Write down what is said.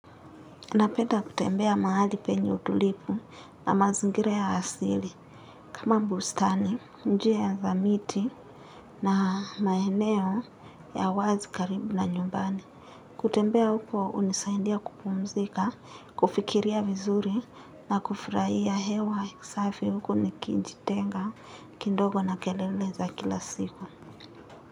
Napenda kutembea mahali penye utulivu na mazingira ya asili. Kama mbustani, njia ya za miti na maeneo ya wazi karibu na nyumbani. Kutembea huko, unisaindia kupumzika, kufikiria vizuri na kufiraiya hewa. Safi huku nikijitenga, kindogo na kelele za kila siku.